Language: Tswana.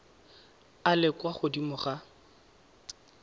a le kwa godimo ga